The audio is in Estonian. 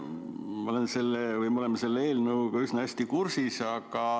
Me oleme selle eelnõuga üsna hästi kursis.